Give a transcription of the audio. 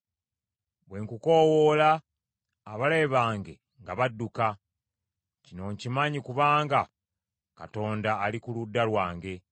Bwe nkukoowoola, abalabe bange nga badduka. Kino nkimanyi kubanga Katonda ali ku ludda lwange.